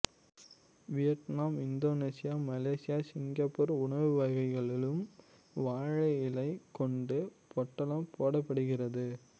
Vietnam Indonesia Malaysia Singapore உணவு வகைகளிலும் வாழை இலை கொண்டு பொட்டலம் போடப்படுகிறது